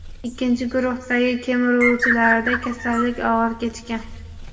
ikkinchi guruhdagi kemiruvchilarda kasallik og‘ir kechgan.